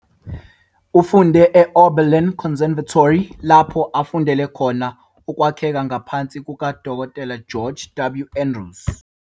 Ufunde e-Oberlin Conservatory lapho afundela khona ukwakheka ngaphansi kukaDkt George W. Andrews.